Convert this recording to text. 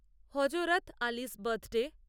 Hazrat Ali's birthday